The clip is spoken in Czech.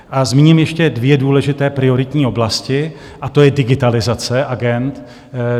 A zmíním ještě dvě důležité prioritní oblasti a to je digitalizace agend.